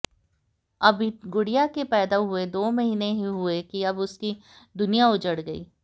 अभी गुड़िया के पैदा हुए दो महीने ही हुए कि अब उसकी दुनिया उजड़ गई